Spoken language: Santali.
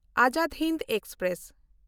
ᱟᱡᱟᱫᱽ ᱦᱤᱱᱫ ᱮᱠᱥᱯᱨᱮᱥ